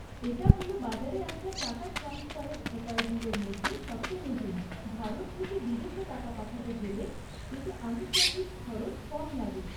এটা হল বাজারে আসা টাকা ট্রান্সফারের উপায়গুলোর মধ্যে সবচেয়ে নতুন, ভারত থেকে বিদেশে টাকা পাঠাতে গেলে এতে আনুষঙ্গিক খরচ কম লাগে।